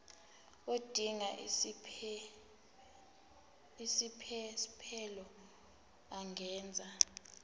odinga isiphesphelo angenza